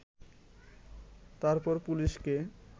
তারপর পুলিশকে